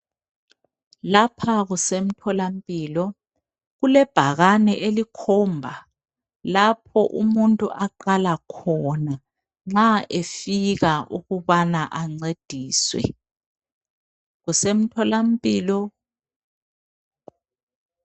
Lapha kusemtholampilo kulebhakane elikhomba lapho umuntu aqala khona nxa efika ukubana ancediswe kusemtholampilo.